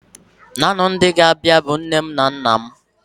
Naanị ndị ga-abịa bụ nne m na nna m.